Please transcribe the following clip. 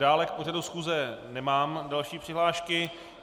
Dále k pořadu schůze nemám další přihlášky.